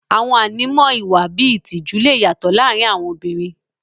Àwọn ànímọ́ ìwà bíi ìtìjú lè yàtọ̀ láàrin àwọn obìnrin.